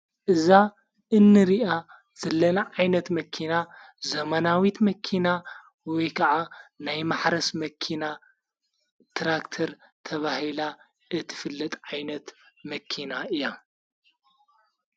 እዛ እንርኣ ዘለና ዓይነት መኪና ዘመናዊት መኪና ወይ ከዓ ናይ ማሕረስ መኪና ትራክተር ተብሂላ እትፍልጥ ዓይነት መኪና እያ::